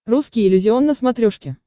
русский иллюзион на смотрешке